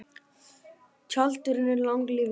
Tjaldurinn er langlífur.